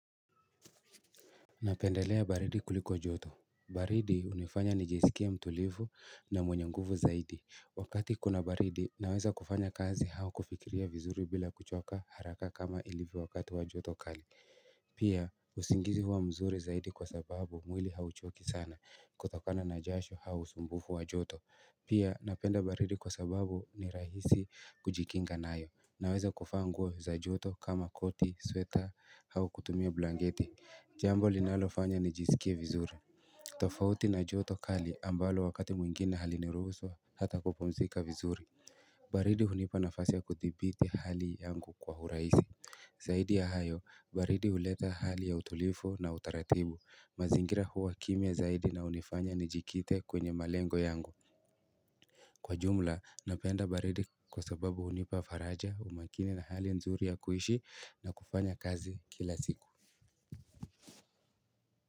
Napendelea baridi kuliko joto baridi hunifanya nijisikie mtulivu na mwenye nguvu zaidi Wakati kuna baridi naweza kufanya kazi au kufikiria vizuri bila kuchoka haraka kama ilivo wakati wa joto kali Pia usingizi huwa mzuri zaidi kwa sababu mwili hauchoki sana kutokana na jasho au usumbufu wa joto Pia napenda baridi kwa sababu ni rahisi kujikinga nayo naweza kuvaa nguo za joto kama koti sweta au kutumia blanketi Jambo linalofanya nijisikie vizuri tofauti na joto kali ambalo wakati mwingine haliniruhusu hata kupumzika vizuri baridi hunipa nafasi ya kuthibiti hali yangu kwa uraisi Zaidi ya hayo, baridi uleta hali ya utulivu na utaratibu, mazingira huwa kimia zaidi na hunifanya nijikite kwenye malengo yangu Kwa jumla, napenda baridi kwa sababu hunipa faraja umakini na hali nzuri ya kuishi na kufanya kazi kila siku.